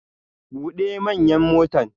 Bude manyan motan!